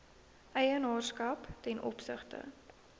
eienaarskap ten opsigte